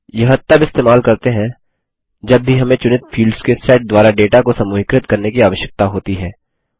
यह तब इस्तेमाल करते हैं जब भी हमें चुनित फील्ड्स के सेट द्वारा डेटा को समूहीकृत करने की आवश्यकता होती है